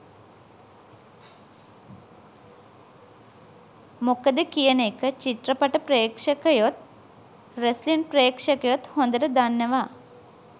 මොකද කියන එක චිත්‍රපට ප්‍රේක්ෂකයොත් රෙස්ලින් ප්‍රේක්ෂකයොත් හොඳට දන්නවා.